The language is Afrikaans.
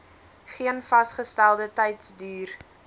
geen vasgestelde tydsduur